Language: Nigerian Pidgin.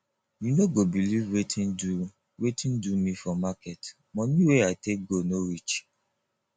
you no go believe wetin do wetin do me for market money wey i take go no reach